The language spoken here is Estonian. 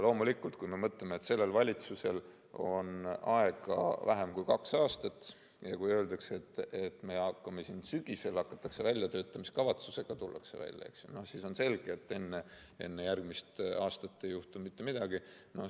Kui me mõtleme, et sellel valitsusel on aega vähem kui kaks aastat, ja kui öeldakse, et sügisel tullakse väljatöötamiskavatsusega välja, siis on selge, et enne järgmist aastat ei juhtu mitte midagi.